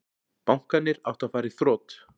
Bankarnir áttu að fara í þrot